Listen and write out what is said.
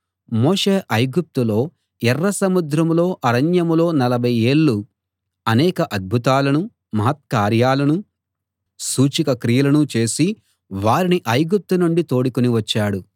మోషే ఐగుప్తులో ఎర్రసముద్రంలో అరణ్యంలో నలభై ఏళ్ళు అనేక అద్భుతాలనూ మహత్కార్యాలనూ సూచక క్రియలనూ చేసి వారిని ఐగుప్తు నుండి తోడుకుని వచ్చాడు